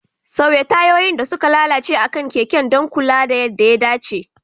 Sauya tayoyin da suka lalace akan keken don kula da yadda ya dace.